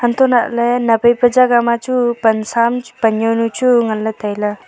antolahley naphai pu jaga ma chu pansaam pan jawnu chu nganla tailey.